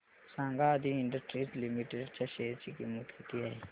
सांगा Adi industries limited च्या share ची किंमत किती आहे